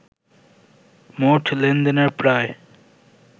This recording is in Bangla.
মোট লেনদেনের প্রায়